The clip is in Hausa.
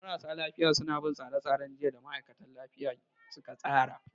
Marasa lafiya suna bin tsare-tsaren jiyya da ma'aikatan kiwon lafiya suka tsara.